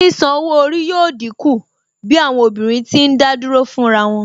Sísan owó orí yóò dínkù bí àwọn obìnrin tí ń dádúró fún ra wọn